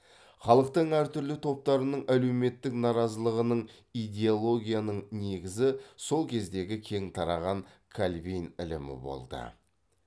халықтың әр түрлі топтарының әлеуметтік наразылығының идеологияның негізі сол кездегі кең тараған кальвин ілімі болды